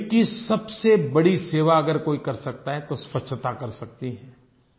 ग़रीब की सबसे बड़ी सेवा अगर कोई कर सकता है तो स्वच्छता कर सकती है